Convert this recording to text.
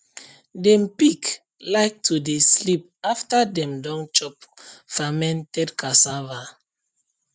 dem pig like to dey sleep after dem don chop fermented cassava